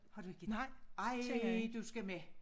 Har du ikke ej du skal med